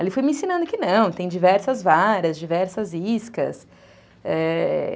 Ele foi me ensinando que não, tem diversas varas, diversas iscas, é...